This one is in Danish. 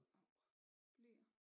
Av bleer